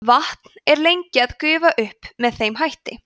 vatnið er lengi að gufa upp með þeim hætti